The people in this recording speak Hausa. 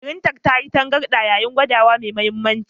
Firintar ta yi tangarɗa yayin gabatarwa mai mahimmanci.